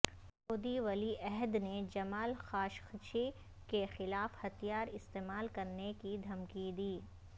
سعودی ولی عہد نے جمال خاشقجی کے خلاف ہتھیار استعمال کرنے کی دھمکی دی